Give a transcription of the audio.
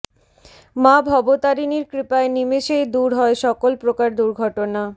মা ভবতারিণীর কৃপায় নিমেষেই দূর হয় সকল প্রকার দুর্ঘটনা